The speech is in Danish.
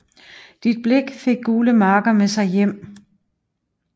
Dit blik fik gule marker med sig hjem